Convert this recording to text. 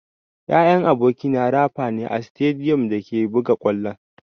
Yayan abokina rafa ne a sitadiyom da ake buga ƙwallo.